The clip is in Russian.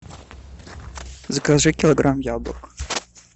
закажи килограмм яблок